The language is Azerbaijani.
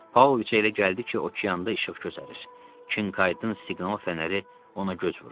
Paoviçə elə gəldi ki, okeanda işıq gözərər, Kinkaydın siqnal fənəri ona göz vurur.